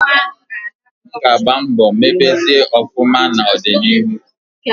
M ga agba mbo mebezie ofuma na odi na iru